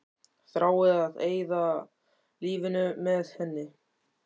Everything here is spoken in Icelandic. Þrái að eyða lífinu með henni.